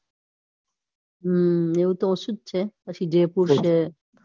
હમ એવું તો ઓછું જ છે પછી જયપુર છે. જયપુર છે